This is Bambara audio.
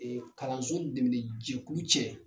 kalanso dɛmɛnni jɛkulu cɛ.